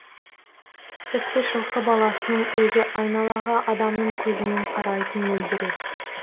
тіпті жылқы баласының өзі айналаға адамның көзімен қарайтын мөлдіреп